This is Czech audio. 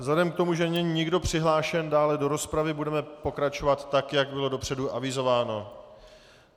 Vzhledem k tomu, že není nikdo přihlášen dále do rozpravy, budeme pokračovat tak, jak bylo dopředu avizováno.